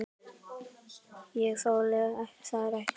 Ég þoli þær ekki.